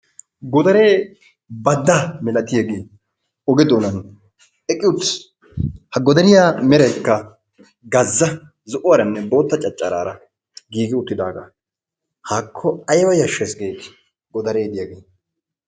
Godare badda milatiyaagee oge doona eqqi uttiis. ha godariya meraykka gazaa zo'uwaranne bootta caccaray giigi uttidaaga. haakko aybba yashshees gideti godare diyaage.